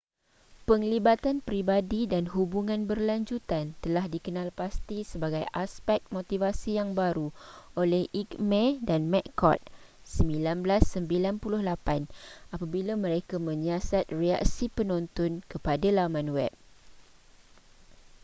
penglibatan peribadi” dan hubungan berlanjutan” telah dikenalpasti sebagai aspek motivasi yang baru oleh eighmey dan mccord 1998 apabila mereka menyiasat reaksi penonton kepada laman web